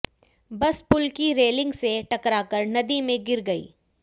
बस पुल की रेलिंग से टकराकर नदी में गिर गई